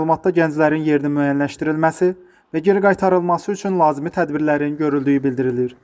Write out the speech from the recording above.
Məlumatda gənclərin yeri müəyyənləşdirilməsi və geri qaytarılması üçün lazımi tədbirlərin görüldüyü bildirilir.